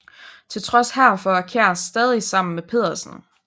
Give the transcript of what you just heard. Til trods herfor er Kjær stadig sammen med Pedersen